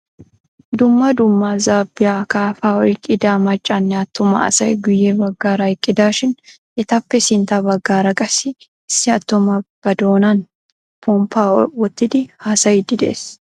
Dumma dumma zaabbiyaa akaafaa oyqqida maccanne attuma asay guyye baggaara eqqidaashin etappe sintta baggaara qassi issi attuma ba doonan pomppaa woottidi haasayiidi de'ees.